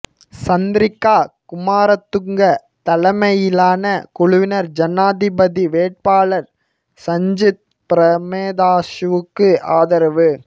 சந்திரிக்கா குமாரத்துங்க தலைமையிலான குழுவினர் ஜனாதிபதி வேட்பாளர் சஜித் பிரேமதாஸவுக்கு ஆதரவு